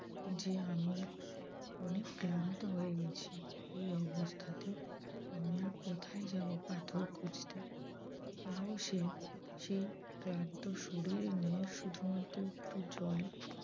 যে আমি অনেক ক্লান্ত হয়ে গেছি এই অবস্থাতে আমি আর কোথায় যাব পাথর খুঁজতে? তাও সে সেই ক্লান্ত শরীর নিয়ে শুধুমাত্র একটু জল